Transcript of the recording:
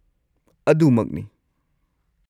ꯑꯗꯨ ꯃꯛꯅꯤ!